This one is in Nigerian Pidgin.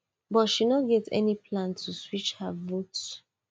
but she no get any plan to switch her vote